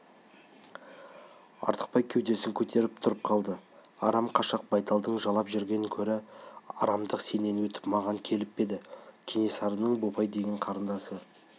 артықбай да кеудесін көріп тұра қалды арам қашақ байталдың жалап жүрген көрі арамдық сенен өтіп маған келіп пе кенесарының бопай деген қарындасы